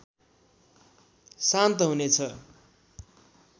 शान्त हुनेछ